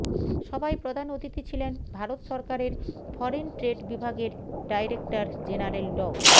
সভায় প্রধান অতিথি ছিলেন ভারত সরকারের ফরেন ট্রেড বিভাগের ডাইরেক্টর জেনারেল ড